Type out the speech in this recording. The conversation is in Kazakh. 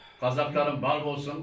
қазақтарым бар болсын